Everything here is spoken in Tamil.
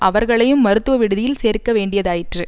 அவர்களையும் மருத்துவ விடுதியில் சேர்க்க வேண்டியதாயிற்று